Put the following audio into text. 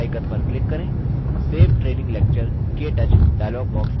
save training lecture – ktouch dialog box प्रदर्शित होता है